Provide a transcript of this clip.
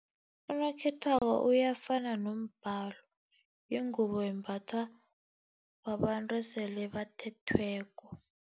Unokhethwabo uyafuna nombhalo, yingubo embathwa babantu esele bathethweko.